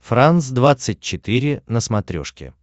франс двадцать четыре на смотрешке